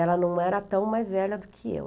Ela não era tão mais velha do que eu.